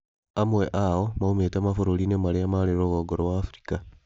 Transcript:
Amwe ao moimĩte mabũrũri-inĩ marĩa marĩ rũgongo rwa Afrika.